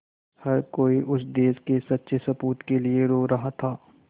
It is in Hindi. हर कोई उस देश के सच्चे सपूत के लिए रो रहा था